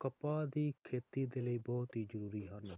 ਕਪਾਹ ਦੀ ਖੇਤੀ ਦੇ ਲਈ ਬਹੁਤ ਹੀ ਜ਼ਰੂਰੀ ਹਨ